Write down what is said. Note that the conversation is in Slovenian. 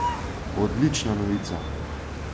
Odlična novica!